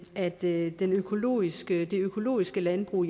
at det økologiske økologiske landbrug